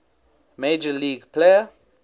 major league player